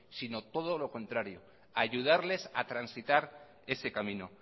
sino todo lo contrario ayudarles a transitar ese camino